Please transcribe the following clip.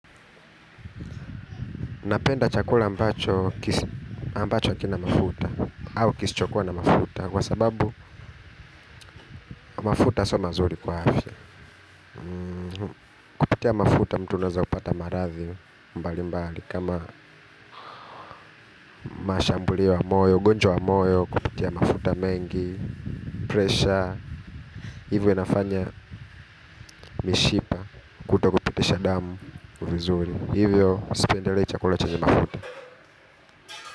Napenda chakula ambacho kina mafuta. Au kisichokua na mafuta. Kwa sababu mafuta so mazuri kwa afya. Kutia mafuta mtu unaweza kupata marathi mbali mbali. Kama mashambulio ya moyo, ugonjwa wa moyo kupitia mafuta mengi, pressure. Hivyo inafanya mishipa kutokupitisha damu vizuri. Hivyo, sipendelei chakula chanye mafuta.